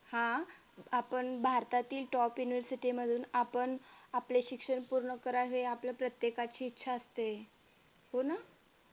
हा आपण भारतातील top university मधून आपण आपले शिक्षण पूर्ण करावे हे आपल्या प्रत्येकाची इच्छा असते हो ना